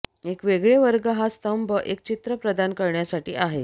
एक वेगळे वर्ग हा स्तंभ एक चित्र प्रदान करण्यासाठी आहे